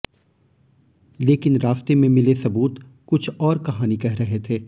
लेकिन रास्ते में मिले सबूत कुछ और कहानी कह रहे थे